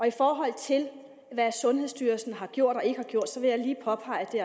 i forhold til hvad sundhedsstyrelsen har gjort og ikke har gjort vil jeg lige påpege at det